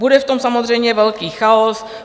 Bude v tom samozřejmě velký chaos.